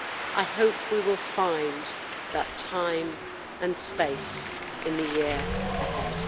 I hope we will find that time and space in the year ahead.